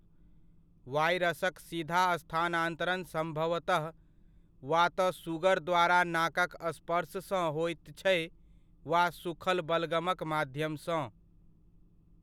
वायरसक सीधा स्थानांतरण सम्भवतः वा तऽ सुगर द्वारा नाकक स्पर्श सँ होइत छै वा सूखल बलगमक माध्यम सँ।